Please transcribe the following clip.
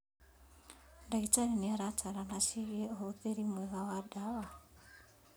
Ndagĩtarĩ nĩaratarana ciĩgiĩ ũhũthĩri mwega wa ndawa